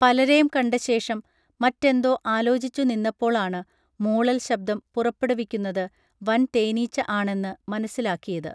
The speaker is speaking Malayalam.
പലരേം കണ്ടശേഷം മറ്റെന്തൊ ആലോച്ചിച്ചു നിന്നപ്പോളാണ് മൂളൽ ശബ്ദം പുറപ്പെടുവിക്കുന്നത് വൻതേനീച്ച ആണെന്ന് മനസ്സിലാക്കിയത്